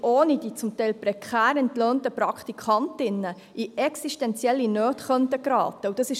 Ich gebe dem Gesundheitsdirektor, Herrn Regierungsrat Schnegg das Wort.